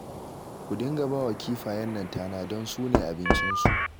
Ku dinga ba wa kifayen nan tana don su ne abincinsu